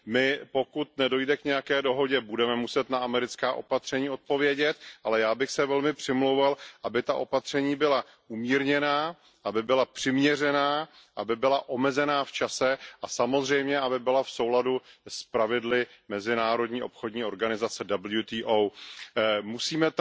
My, pokud nedojde k nějaké dohodě, budeme muset na americká opatření odpovědět, ale já bych se velmi přimlouval, aby ta opatření byla umírněná, aby byla přiměřená, aby byla omezená v čase a samozřejmě, aby byla v souladu s pravidly Světové obchodní organizace Musíme